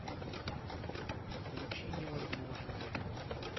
включи невозможное